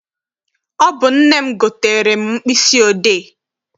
Ọ bụ nne m gotere m mkpịsị odee.